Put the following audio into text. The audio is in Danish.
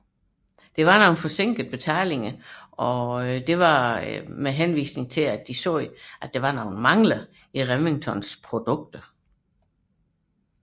De forsinkede betalingen med henvisning til påståede mangler i Remingtons produkter